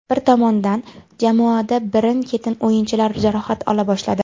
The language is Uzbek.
Bir tomondan, jamoada birin-ketin o‘yinchilar jarohat ola boshladi.